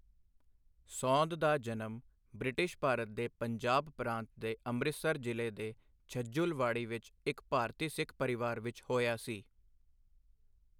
ਸੌਂਦ ਦਾ ਜਨਮ ਬ੍ਰਿਟਿਸ਼ ਭਾਰਤ ਦੇ ਪੰਜਾਬ ਪ੍ਰਾਂਤ ਦੇ ਅੰਮ੍ਰਿਤਸਰ ਜ਼ਿਲ੍ਹੇ ਦੇ ਛਜੂਲਵਾੜੀ ਵਿੱਚ ਇੱਕ ਭਾਰਤੀ ਸਿੱਖ ਪਰਿਵਾਰ ਵਿੱਚ ਹੋਇਆ ਸੀ।